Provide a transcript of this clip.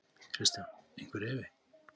Kristján: Einhver efi?